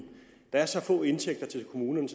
er så få indtægter til kommunerne